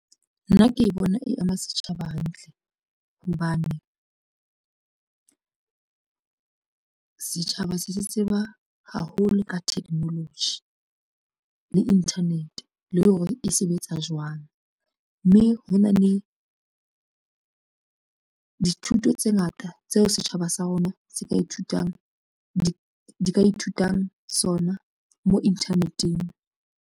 Nna ke e bona e ama setjhaba hantle hobane setjhaba se se tseba haholo ka technology le internet le hore e sebetsa jwang mme hona le dithuto tse ngata tseo setjhaba sa rona se ka ithutang di ka ithutang sona mo inthaneteng.